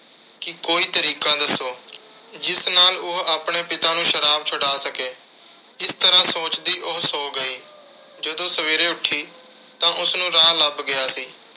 ਕਿ ਕੋਈ ਤਰੀਕਾ ਦੱਸੋ, ਜਿਸ ਨਾਲ ਉਹ ਆਪਣੇ ਪਿਤਾ ਨੂੰ ਸ਼ਰਾਬ ਛੁਡਾ ਸਕੇ। ਇਸ ਤਰ੍ਹਾਂ ਸੋਚਦੀ ਉਹ ਸੋ ਗਈ। ਜਦੋਂ ਸਵੇਰੇ ਉੱਠੀ ਤਾਂ ਉਸਨੂੰ ਰਾਹ ਲੱਭ ਗਿਆ ਸੀ।